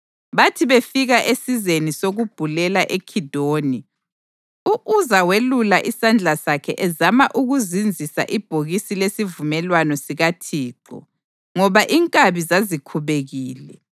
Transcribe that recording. Bathi befika esizeni sokubhulela eKhidoni, u-Uza welula isandla sakhe ezama ukuzinzisa ibhokisi lesivumelwano sikaThixo, ngoba inkabi zazikhubekile.